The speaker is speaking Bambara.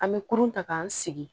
An bɛ kurun ta k'an sigi